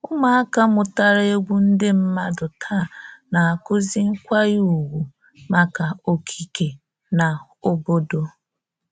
Ụmụaka mụtara egwu ndị mmadụ taa na-akụzi nkwanye ùgwù maka okike na obodo